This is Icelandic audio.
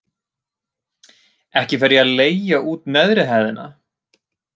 Ekki fer ég að leigja út neðri hæðina.